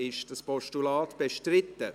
Ist dieses Postulat bestritten?